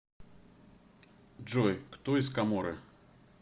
джой кто из коморы